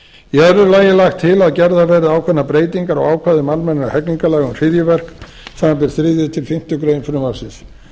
öðru lagi er lagt til að gerðar verði ákveðnar breytingar á ákvæðum almennra hegningarlaga um hryðjuverk samanber þriðju til fimmtu grein frumvarpsins